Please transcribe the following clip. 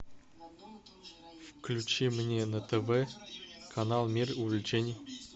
включи мне на тв канал мир увлечений